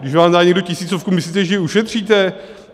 Když vám dá někdo tisícovku, myslíte, že ji ušetříte?